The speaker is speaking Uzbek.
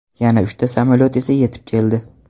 Yana uchta samolyot esa yetib keldi.